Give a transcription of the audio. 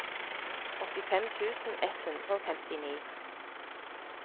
åttifem tusen ett hundre og femtini